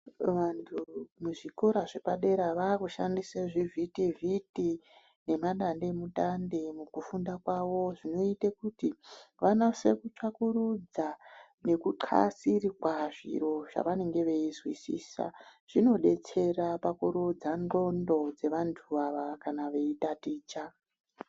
Vanhu muzvikora zvepadera vaakushandise zvivhitivhiti nemadandemutande mukufunda kwavo. Zvinoite kuti vanase kutsvakurudza nekuxasirwa zviro zvavanenge veizwisisa. Zvinodetsera pakurodza ndxondo dzevantu ava kana veitaticha.